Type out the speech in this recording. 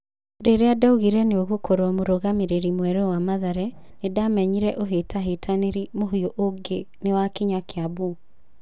Rĩrĩa ndaiguire nĩũgũkorwo mũrũgamĩriri mwerũ wa Mathare, nĩndamenyire ũhĩtahĩtanĩri mũhiũ ũngĩ nĩwakinya Kiambu"..